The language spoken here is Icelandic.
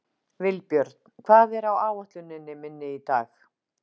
Vilbjörn, hvað er á áætluninni minni í dag?